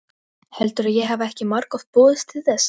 Heldurðu að ég hafi ekki margoft boðist til þess?